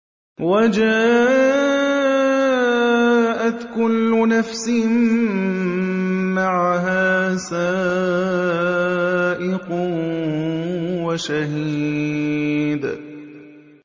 وَجَاءَتْ كُلُّ نَفْسٍ مَّعَهَا سَائِقٌ وَشَهِيدٌ